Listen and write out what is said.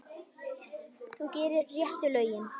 Þú gerir réttu lögin.